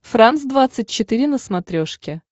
франс двадцать четыре на смотрешке